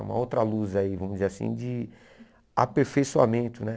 Uma outra luz aí, vamos dizer assim, de aperfeiçoamento, né?